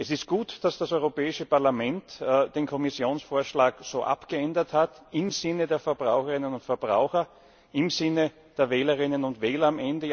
Es ist gut, dass das Europäische Parlament den Kommissionvorschlag so abgeändert hat im Sinne der Verbraucherinnen und Verbraucher, am Ende im Sinne der Wählerinnen und Wähler.